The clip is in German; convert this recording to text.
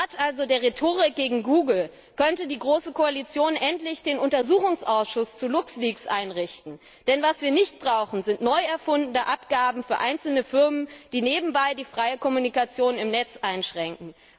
Statt der Rhetorik gegen Google könnte die große Koalition also endlich den Untersuchungsausschuss zu Luxleaks einrichten. Denn was wir nicht brauchen, sind neu erfundene Abgaben für einzelne Firmen, die nebenbei die freie Kommunikation im Netz einschränken.